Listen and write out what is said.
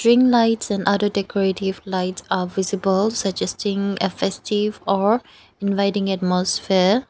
tring lights and other decorative lights are visible suggesting a festive or inviting atmosphere.